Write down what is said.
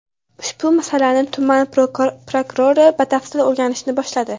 Ushbu masalani tuman prokurori batafsil o‘rganishni boshladi.